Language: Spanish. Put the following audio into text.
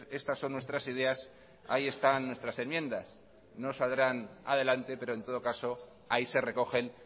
estas son nuestras ideas ahí están nuestras enmiendas no saldrán adelante pero en todo caso ahí se recogen